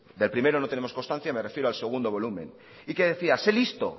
del primero no tenemos constancia me refiero al segundo volumen y que decía se listo